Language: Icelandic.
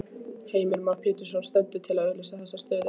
Heimir Már Pétursson: Stendur til að auglýsa þessa stöðu?